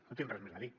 no tinc res més a dir